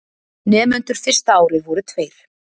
Nemendur fyrsta árið voru tveir.